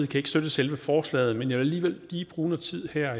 kan ikke støtte selve forslaget men jeg vil alligevel lige bruge noget tid her